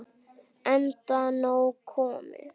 Enda nóg komið.